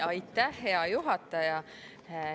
Aitäh, hea juhataja!